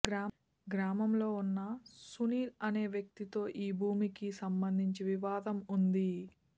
గ్రామంలో ఉన్న సునీల్ అనే వ్యక్తితో ఈ భూమికి సంబంధించి వివాదం ఉంది